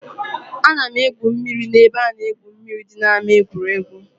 Ana m egwu mmiri na-ebe a na-egwu mmiri dị na ama egwuregwu.